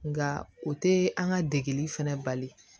Nka o tɛ an ka degeli fana bali